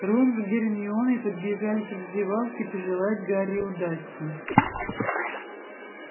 рон с гермионой подбежали к раздевалке пожелать гарри удачи